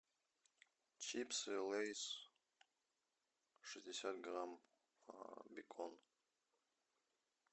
чипсы лэйс шестьдесят грамм бекон